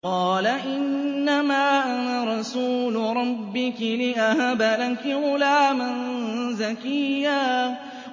قَالَ إِنَّمَا أَنَا رَسُولُ رَبِّكِ لِأَهَبَ لَكِ غُلَامًا زَكِيًّا